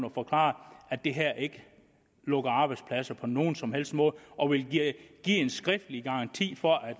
og forklare at det her ikke lukker arbejdspladser på nogen som helst måde og ville give en skriftlig garanti for at